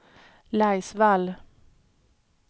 Laisvall